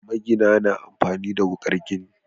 Magina na amfani da wuƙar gini.